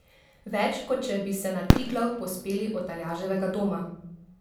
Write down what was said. Več, kot če bi se na Triglav povzpeli od Aljaževega doma!